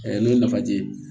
n'o ye nafaji ye